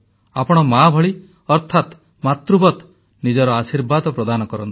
ଆପଣ ମା ଭଳି ଅର୍ଥାତ ମାତୃବତ୍ ନିଜର ଆଶୀର୍ବାଦ ପ୍ରଦାନ କରନ୍ତୁ